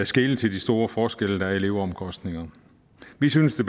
skele til de store forskelle der er i leveomkostningerne vi synes at